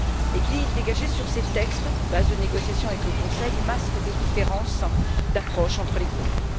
L'équilibre dégagé sur ces textes, base de négociation avec le Conseil, masque des différences d'approche entre les groupes.